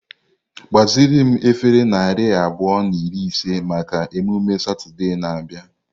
Gbaziri m efere narị abụọ na iri ise maka emume Satọde na-abịa.